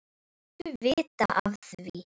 Láttu vita af því.